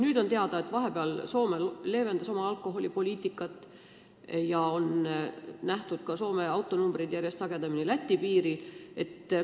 Nüüd on teada, et vahepeal Soome leevendas oma alkoholipoliitikat, ka on Soome numbritega autosid järjest sagedamini nähtud teisel pool Läti piiri.